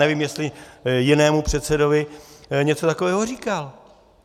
Nevím, jestli jinému předsedovi něco takového říkal.